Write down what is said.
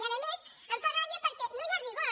i a més em fa ràbia perquè no hi ha rigor